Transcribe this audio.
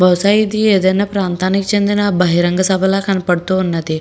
బహుశా ఇది ఏదైనా ప్రాంతానికి చెందిన బహిరంగ సభ లాగ కనబడుతున్నద.